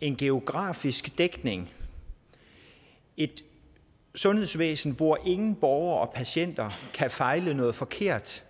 en geografisk dækning et sundhedsvæsen hvor ingen borgere og patienter kan fejle noget forkert